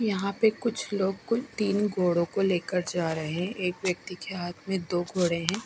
यहां पे कुछ लोग कोई तीन घोड़े को लेकर जा रहे हैं एक व्यक्ति के हाथ में दो घोड़े है।